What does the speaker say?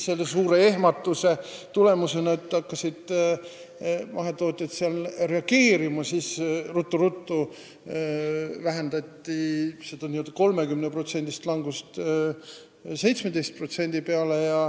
Suure ehmatuse tulemusena hakkasid mahetootjad reageerima ja seda 30%-list langust vähendati ruttu-ruttu 17% peale.